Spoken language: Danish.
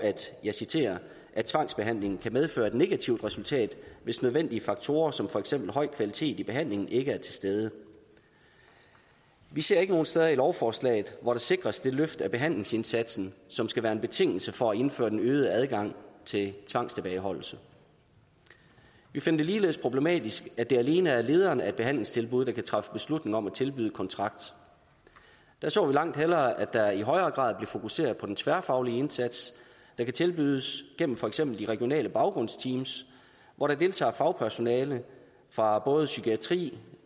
jeg citerer tvangsbehandlingen kan medføre et negativt resultat hvis nødvendige faktorer som fx høj kvalitet i behandlingen ikke er til stede vi ser ikke nogen steder i lovforslaget hvor der sikres det løft af behandlingsindsatsen som skal være en betingelse for at indføre den øgede adgang til tvangstilbageholdelse vi finder det ligeledes problematisk at det alene er lederen af behandlingstilbuddet der kan træffe beslutning om at tilbyde kontrakt vi så langt hellere at der i højere grad blev fokuseret på den tværfaglige indsats der kan tilbydes gennem for eksempel de regionale baggrundsteams hvor der deltager fagpersonale fra både psykiatri og